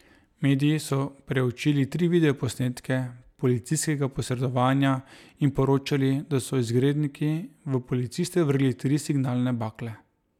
Mediji so preučili tri video posnetke policijskega posredovanja in poročali, da so izgredniki v policiste vrgli tri signalne bakle.